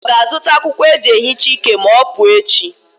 Ọ ga-azụta akwụkwọ eji ehicha ike ma ọ pụọ echi?